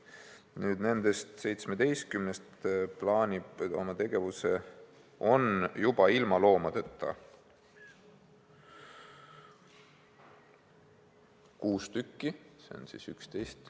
Nüüd, nendest 17-st on ilma loomadeta juba kuus tükki, seega on järel 11.